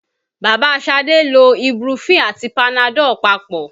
Bàbá Ṣadé lo ibuprofen àti panadol papọ̀